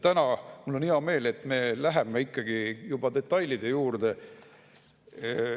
Ja mul on hea meel, et täna me läheme ikkagi juba detailide juurde.